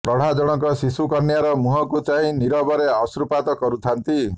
ପ୍ରୌଢ଼ା ଜଣକ ଶିଶୁ କନ୍ୟାର ମୁହଁକୁ ଚାହିଁ ନିରବରେ ଅଶ୍ରୁପାତ କରୁଥାନ୍ତି